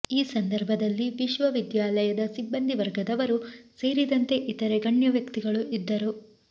ಈ ಸಂದರ್ಭದಲ್ಲಿ ವಿಶ್ವವಿದ್ಯಾಲಯದ ಸಿಬ್ಬಂದಿ ವರ್ಗದವರು ಸೇರಿದಂತೆ ಇತರೆ ಗಣ್ಯವ್ಯಕ್ತಿಗಳು ಇದ್ದರು